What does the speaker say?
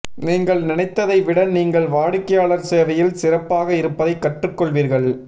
நீங்கள் நினைத்ததை விட நீங்கள் வாடிக்கையாளர் சேவையில் சிறப்பாக இருப்பதைக் கற்றுக் கொள்வீர்கள்